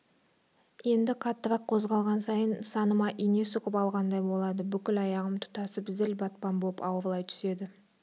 енді қаттырақ қозғалған сайын саныма ине сұғып алғандай болады бүкіл аяғым тұтасып зіл батпан боп ауырлай түседі